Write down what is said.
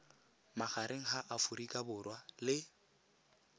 magareng ga aforika borwa le